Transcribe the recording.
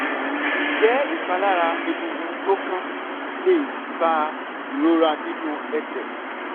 ǹjẹ́ ìpalára egungun tó kán le fa ìrora nínú ẹsẹ̀?